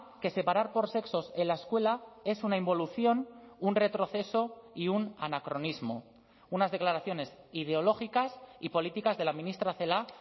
que separar por sexos en la escuela es una involución un retroceso y un anacronismo unas declaraciones ideológicas y políticas de la ministra celaá